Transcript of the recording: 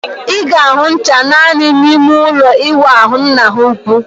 Ị ga-ahụ ncha naani n'ime ụlọ ịwụ ahu nna ha ukwu